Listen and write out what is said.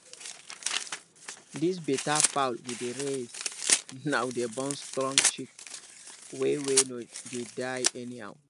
this better fowl we dey raise now dey born strong chick wey wey no dey die anyhow